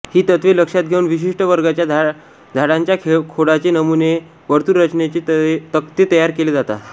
ही तत्वे लक्षात घेऊन विशिष्ट वर्गाच्या झाडांच्या खोडाचे नमुने वर्तुळरचनेचे तक्ते तयार केले जातात